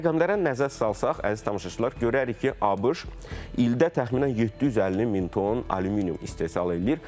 Rəqəmlərə nəzər salsaq, əziz tamaşaçılar, görərik ki, ABŞ ildə təxminən 750 min ton alüminium istehsal eləyir.